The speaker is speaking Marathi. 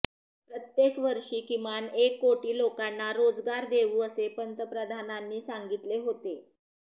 प्रत्येक वर्षी किमान एक कोटी लोकांना रोजगार देऊ असे पंतप्रधानांनी सांगितले होते